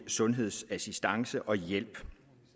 sundhedsassistance og hjælp